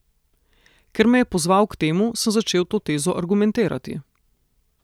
Ker me je pozval k temu, sem začel to tezo argumentirati.